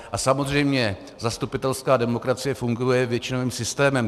A samozřejmě zastupitelská demokracie funguje většinovým systémem.